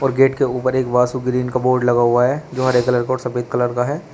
और गेट के ऊपर एक वासु ग्रीन का बोर्ड लगा हुआ है जो हरे कलर का और सफेद कलर का है।